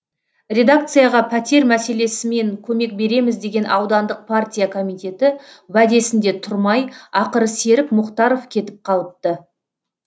редакцияға пәтер мәселесімен көмек береміз деген аудандық партия комитеті уәдесінде тұрмай ақыры серік мұхтаров кетіп қалыпты